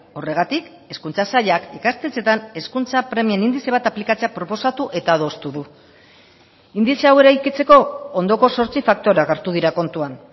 horregatik hezkuntza sailak ikastetxeetan hezkuntza premien indize bat aplikatzea proposatu eta adostu du indize hau eraikitzeko ondoko zortzi faktoreak hartu dira kontuan